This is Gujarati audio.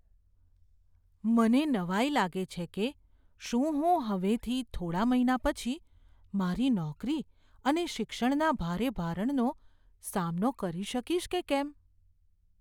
મને નવાઈ લાગે છે કે શું હું હવેથી થોડા મહિના પછી મારી નોકરી અને શિક્ષણના ભારે ભારણનો સામનો કરી શકીશ કે કેમ.